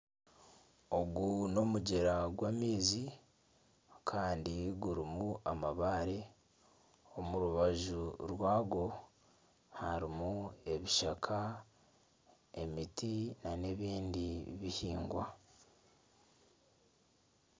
Ogu n'omugyera gw'amaizi kandi gurimu amabaare omu rubaju rwagwo harimu ebishaka, emiti na n'ebindi bihingwa.